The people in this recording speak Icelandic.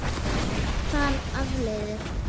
þar af leiðir